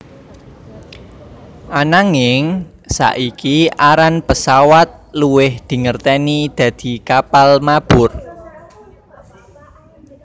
Ananging saiki aran pesawat luwih dingerteni dadi kapal mabur